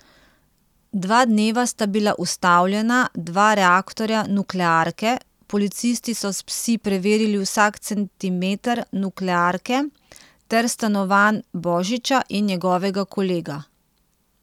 Dva dneva sta bila ustavljena dva reaktorja nuklearke, policisti so s psi preverili vsak centimeter nuklearke ter stanovanj Božića in njegovega kolega.